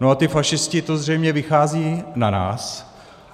No a ti fašisti, to zřejmě vychází na nás.